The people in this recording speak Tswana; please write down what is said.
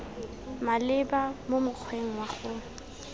maleba mo mokgweng wa go